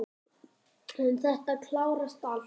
En þetta klárast allt.